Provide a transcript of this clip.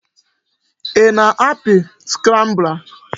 Ị na-apị scrambler?